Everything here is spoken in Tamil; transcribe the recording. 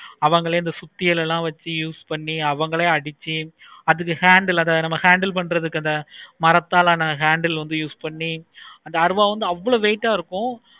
அவங்களே அந்த சுத்தியல்ல வச்சி use பண்ணி அவங்களே அடிச்சி அதுக்கு hand ல வேற handle பண்றது அந்த மரத்தால் ஆசன handle வந்து use பண்ணி அந்த அருவாள் வந்து அவ்வளோ weight ஆஹ் இருக்கும்.